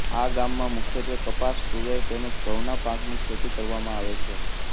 આ ગામમાં મુખ્યત્વે કપાસ તુવર તેમ જ ઘઉના પાકની ખેતી કરવામાં આવે છે